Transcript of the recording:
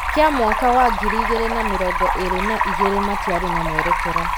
kĩa mwaka wa ngiri igĩrĩ na mĩrongo ĩrĩ na igĩrĩ matiarĩ na mwerekera.